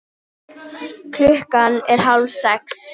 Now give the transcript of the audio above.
Klukkan er hálfsex.